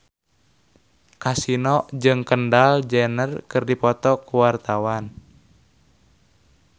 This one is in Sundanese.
Kasino jeung Kendall Jenner keur dipoto ku wartawan